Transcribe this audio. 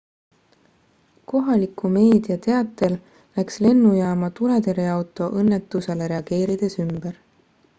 kohaliku meedia teatel läks lennujaama tuletõrjeauto õnnetusele reageerides ümber